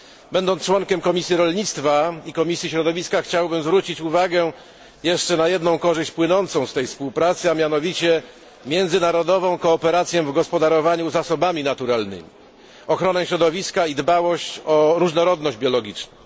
Będąc członkiem Komisji Rolnictwa i Komisji Środowiska chciałbym zwrócić uwagę na jeszcze jedną korzyść płynącą z tej współpracy, a mianowicie międzynarodową współpracę w gospodarowaniu zasobami naturalnymi, ochronę środowiska i dbałość o różnorodność biologiczną.